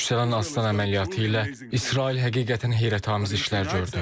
Yüksələn Aslan əməliyyatı ilə İsrail həqiqətən heyrətamiz işlər gördü.